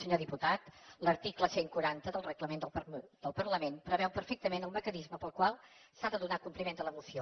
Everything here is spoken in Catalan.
senyor diputat l’article cent i quaranta del reglament del parlament preveu perfectament el mecanisme pel qual s’ha de donar compliment de la moció